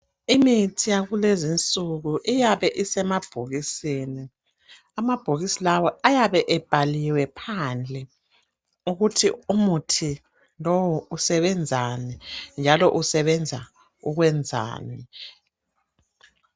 Imithi yakulezinsuku iyabe isemabhokisini. Amabhokisi lawa ayabe ebhaliwe phandle ukuthi umuthi lowu usebenzani njalo usebenza ukwenzani.